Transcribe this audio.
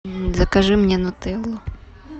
закажи мне нутеллу